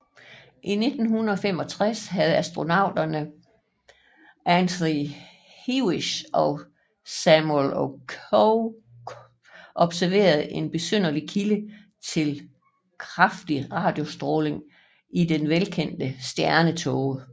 I 1965 havde astronomerne Antony Hewish og Samuel Okoye observeret en besynderlig kilde til kraftig radiostråling i den velkendte stjernetåge